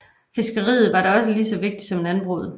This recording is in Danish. Fiskeriet var da lige så vigtigt som landbruget